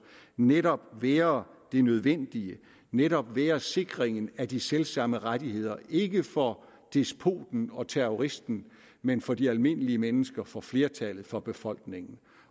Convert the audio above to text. netop være det nødvendige netop være sikringen af de selv samme rettigheder ikke for despoten og terroristen men for de almindelige mennesker for flertallet for befolkningen